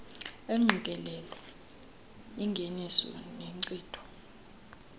engqikelelo engeniso nenkcitho